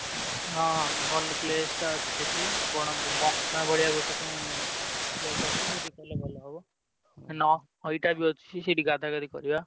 ହଁ ହଁ ଭଲ place ଟା ଅଛି ସେଠି ବଣ ~ଭ ~ବ ନା place ଅଛି ସେଇଠି କଲେ ଭଲ ହବ। ~ନ ନଈଟା ବି ଅଛି ସେଇଠି ଗାଧା ଗାଧି କରିବା।